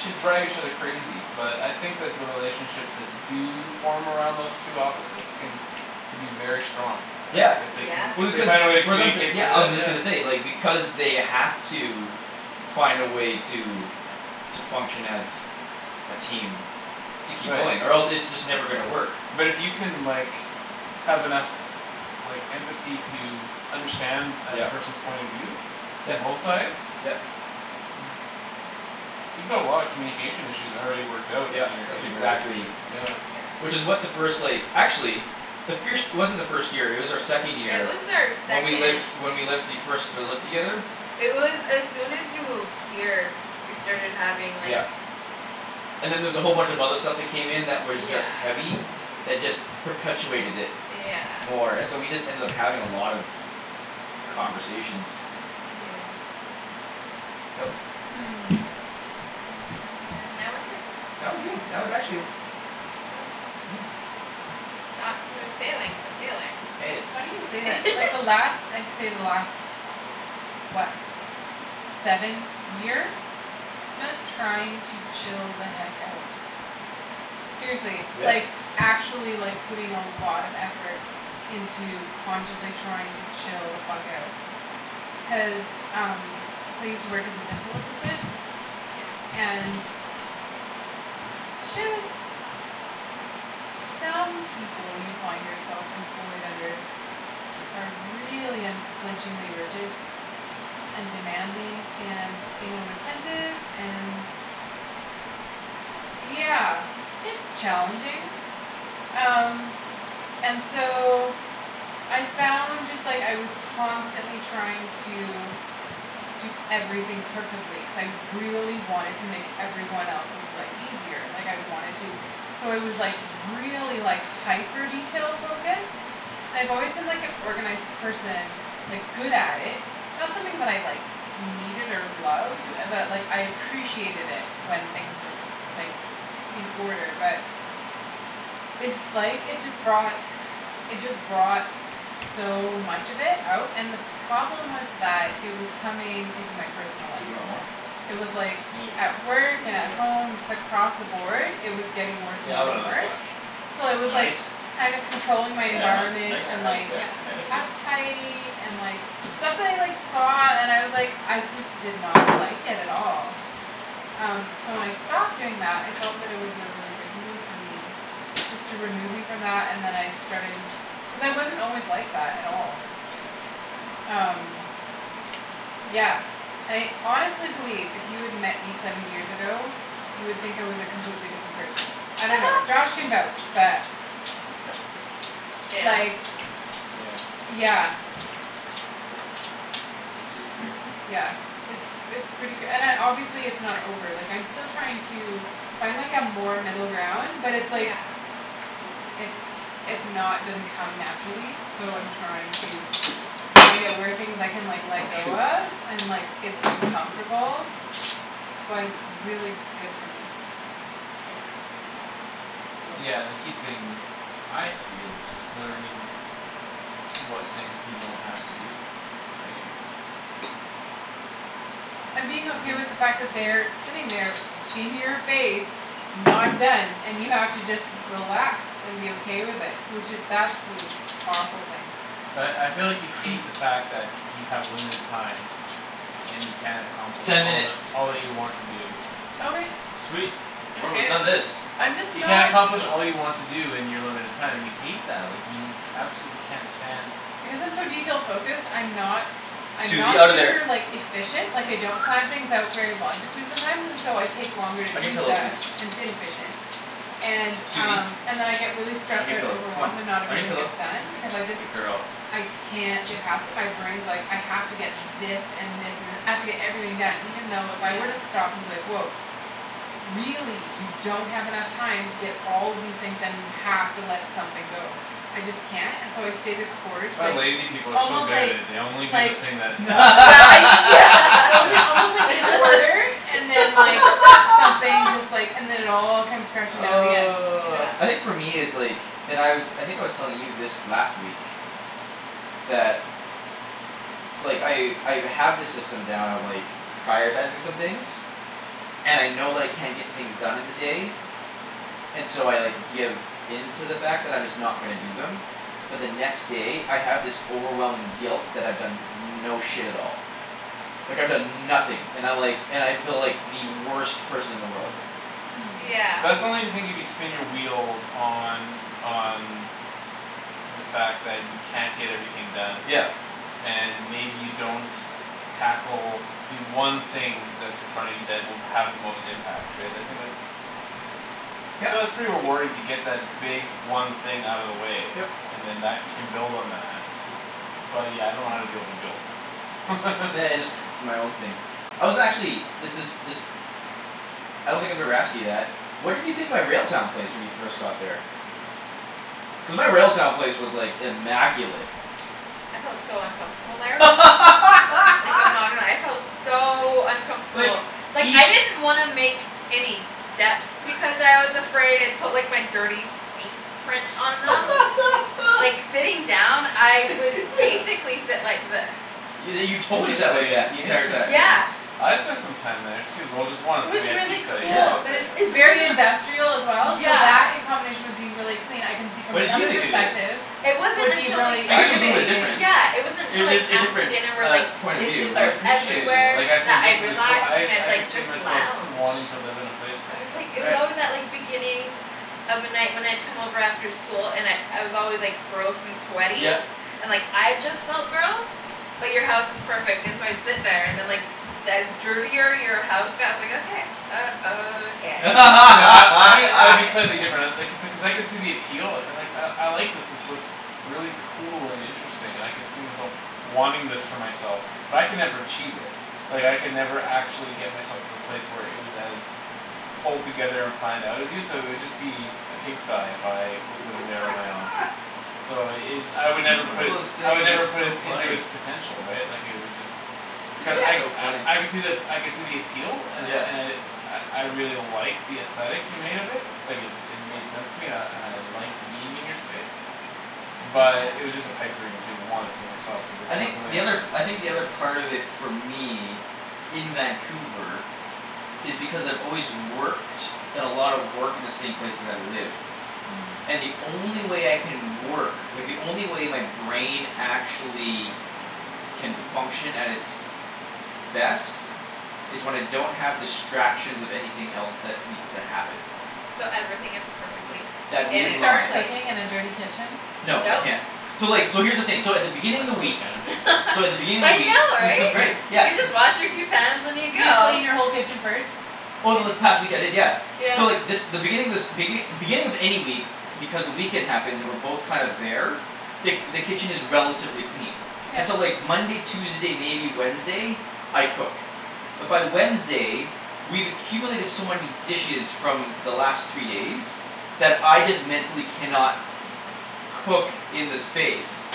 should drive each other crazy but I think that the relationships that do form around those two opposites can be very strong, like, Yeah. if they can, Yeah. if Well, they find a way to because for them to, communicate yeah, through I that. was just gonna say, like, because they have to find a way to to function as a team to keep Right. going or else it's just never gonna work. But it you can, like have enough like empathy to understand that Yep. person's point of view from Yep, both sides yep. you've got a lot of communication issues already worked out in Yep, your, in that's your relationship, exactly yeah. Yeah. Which is what the first, like, actually the firsht it wasn't our first year; it was our second It year was our when we second. lived, when we lived the, first, uh, lived together. It was as soon as you moved here. We started having like Yeah. And then there was a whole bunch of other stuff that came in that was Yeah. just heavy. That just perpetuated it Yeah. more and so we just ended up having a lot of conversations. Yeah. Yep. Hmm. And now we're here. Now we're good. I would actually Not smooth sailing but sailing. Hey. It's funny you say that. Like, the last, I'd say the last what seven years I spent trying to chill the heck out. Seriously, Yeah. like actually, like, putting a lot of effort into consciously trying to chill the fuck out. Cuz um So I use to work as a dental assistant Yeah. and just some people you find yourself employed under are really unflinchingly rigid and demanding and anal retentive and yeah, it's challenging. Um. And so I found just, like, I was constantly trying to do everything perfectly cuz I really wanted to make every one else's life easier like I wanted to so I was, like, really, like hyper detail-focused and I've always been like an organized person like, good at it not something that I, like needed or loved but, like, I appreciated it when things were, like in order but it's, like, it just brought it just brought so much of it out and the problem was that it was coming into my personal life. Dude, you want more? It was like maybe at work and at home just across the board, it was getting worse Yeah, and I'll worse have and another worse. splash. Till You I want was, like, ice? kinda controlling my Yeah, environment yeah, and, ice, like yeah, thank you. uptight and, like stuff that I, like, saw and was, like, I just did not like it at all. Um, so when I stopped doing that I felt that it was a really good move for me. Just to remove me from that and then I started Cuz I wasn't always like that at all. Um. Yeah. And I honestly believe if you had met me seven years ago you would think I was a completely different person. I don't know. Josh can vouch but Yeah. Like, Yeah. yeah. Hey, Susie bear. Yeah, it's, it's pretty k- and I, obviously it's not over, like, I'm still trying to find, like, a more middle ground but it's, like Yeah. it's, it's not, doesn't come naturally so I'm Yeah. trying to find out where things I can, like, let Oh, go shoot. of and, like, it's uncomfortable but it's really good for me. Yeah. Yeah. Yeah, and the key thing I see is just learning what things you don't have to do, right? And being okay with the fact that they are sitting there in your face not done and you have to just relax and be okay with it, which is that's li- powerful thing. But I feel like you hate the fact that you have limited time and you can't accomplish Ten all minute. that, all that you want to do. Okay. Sweet, we're almost done this. I'm just You can't not accomplish all Cool. you want to do in your limited time and you hate that. Like, you absolutely can't stand Because I'm so detail focused, I'm not I'm not Susie, out of super, there. like, efficient Like, I don't plan things out very logically sometimes and so I Yeah. take longer to On your do pillow, stuff, please. and its inefficient. And, Susie. um, and then I get really On stressed your out and pillow, come overwhelmed and on. not On your everything pillow, gets done because I just good girl. I can't get past it my brain's like, "I have to get this and this and, I have to get everything done" even though if I were to Yeah. stop and be like, "Woah. Really you don't have enough time to get all of these things done; you have to let something go." I just can't, and so I stay the course, That's why like, lazy people are so almost, good at like it; they only do the like thing that absolutely Yeah, yeah. only Yeah. almost, like, in order and then, like something just, like, and then it all comes crashing down in the end. Yeah. Oh, I think for me it's like And I was, I think I was telling you this last week that like, I, I've, have this system down of, like prioritizing some things and I know that I can't get things done in the day and so I, like, give in to the fact that I'm just not gonna do them but the next day, I have this overwhelming guilt that I've done no shit at all like, I've Ye- done nothing and I, like, and I feel like the worst person in the world. Yeah. Hmm. Yeah. But that's only the thing if you spin your wheels on, on the fact that you can't get everything done Yep. and maybe you don't tackle the one thing that's in front of you that will have the most impact, right? I think that's Yep. So that's pretty rewarding to get that big one thing out of the way Yep. and then that, you can build on that. But, yeah, I don't know how to deal with the guilt. Nah, it's my own thing. I was actually, this is, this I don't think I've ever asked you that. What did you think my Railtown place when you first got there? Cuz my Railtown place was, like, immaculate. I felt so uncomfortable there. Like, I'm not gonna lie, I felt so Like, uncomfortable. Like, I each didn't want to make any steps because I was afraid I'd put, like, my dirty feet prints on them. Yeah. Like, sitting down, I would Yeah. basically sit like this. Yo- you totally sat like Interesting, that the entire time. interesting. Yeah. I spent some time there too, well, just It once when was we had really pizza at your Yeah. place, cool, but right? it's It's very wasn't industrial as well so Yeah. that in combination with being really clean I can see from What did you another think of it? perspective It wasn't would be until, like really I I guess it can was a little bit intimidating. different. Yeah, it wasn't Er, until, like a, a After different, dinner where, uh, like, point of view, dishes I are but appreciated it, Everywhere like, I that think this I'd is a coo- relax I, and I'd, I could like, see just myself lounge wanting to live in a place like I was, like, this. it was Right. always that, like, beginning of a night when I'd come over after school and I'd, I was always, like Gross and sweaty, Yep. and, like, I just Yeah. felt gross. But you're house is perfect and so I'd sit there and then, Yeah. like the dirtier your house got, I was like, "Okay." Uh, okay. See, see, I, I think I'd be slightly different I, uh Okay. like I, I could see the appeal, like, "I, I like this; this looks really cool and interesting and I could see myself wanting this for myself." But I could never achieve it. Like, I could never actually get myself to the place where it was as pulled together and planned out as you, so it'd just be a pigsty if I was living there on my own. So it, I would Every never one put of it those s- I would things never is put so it into funny. it's potential, right? Like, it would just Cu- I, That's so funny. I, I could see the ap- I could see the appeal and I, Yeah. and I I, I really like the aesthetic you made of it. Like, it, it made sense to me and I, and I liked being in your space. Yeah. But it was just a pipe dream to want it for myself cuz it's I not think something the I other, cou- I I think could do the other it. part of it for me in Vancouver is because I've always worked done a lot of work in the same place that I live Hmm. and the only way I can work like, the only way my brain actually can function at its best is when I don't have distractions of anything else that needs to happen So everything is perfectly Can that in you in its start line. place. cooking in a dirty kitchen? No, I Nope. can't. So, like, so here's the thing, so at the beginning I of the totally week can. so at the beginning of I the week know, right. Right, You yeah. just wash your two pans and you Could you go. clean your whole kitchen first? Over this Ye- past week, I did, yeah. Yeah. So, like, this, the beginning of this begin- beginning of any week because the weekend happens, and we're both kind of there the, the kitchen is relatively clean. Yeah. And so, like, Monday, Tuesday, maybe Wednesday I cook. But by Wednesday we've accumulated so many dishes from the last three days that I just mentally cannot cook in the space.